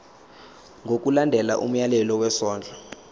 ngokulandela umyalelo wesondlo